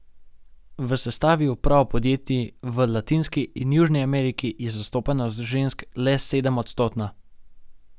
V sestavi uprav podjetij v Latinski in Južni Ameriki je zastopanost žensk le sedemodstotna.